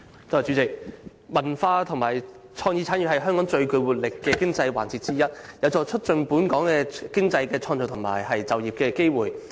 主席，文化及創意產業是香港最具活力的經濟環節之一，有助促進本港經濟增長及創造就業機會。